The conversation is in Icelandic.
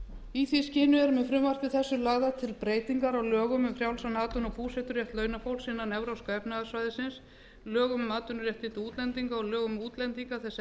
í því skyni er með frumvarpi þessu lagðar til breytingar á lögum um frjálsan atvinnu og búseturétt launafólks innan evrópska efnahagssvæðisins lögum um atvinnuréttindi útlendinga og lögum um útlendinga þess